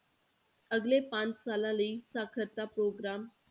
ਅਗਲੇ ਪੰਜ ਸਾਲਾਂ ਲਈ ਸਾਖ਼ਰਤਾ ਪ੍ਰੋਗਰਾਮ।